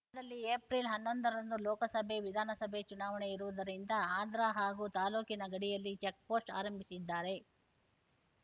ದಲ್ಲಿ ಏಪ್ರಿಲ್ ಹನ್ನೊಂದ ರಂದು ಲೋಕಸಭೆ ವಿಧಾನಸಭೆ ಚುನಾವಣೆ ಇರುವುದರಿಂದ ಆಂಧ್ರ ಹಾಗೂ ತಾಲ್ಲೂಕಿನ ಗಡಿಯಲ್ಲಿ ಚೆಕ್ ಪೋಸ್ಟ್ ಆರಂಭಿಸಿದ್ದಾರೆ